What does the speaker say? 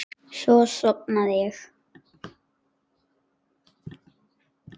Svo sofnaði ég.